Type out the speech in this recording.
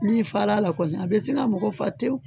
Ni fa la la kɔni a bɛ se ka mɔgɔ fa tewu.